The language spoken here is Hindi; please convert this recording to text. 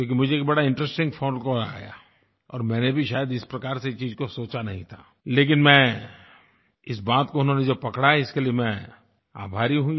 क्योंकि मुझे एक बड़ा इंटरेस्टिंग फोन कॉल आया और मैंने भी शायद इस प्रकार से चीज़ को सोचा नहीं था लेकिन इस बात को उन्होंने जो पकड़ी इसके लिए मैं उनका आभारी हूँ